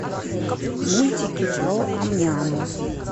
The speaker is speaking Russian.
мультики про ам няму